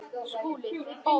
SKÚLI: Þið báðir?